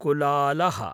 कुलालः